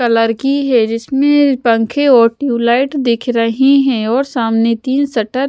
colour की है जिसमें पंखे और ट्यूबलाइट दिख रही है और सामने तीन शटर --